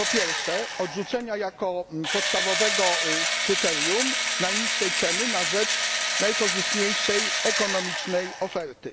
Po pierwsze, odrzucenia jako podstawowego kryterium najniższej ceny na rzecz najkorzystniejszej ekonomicznej oferty.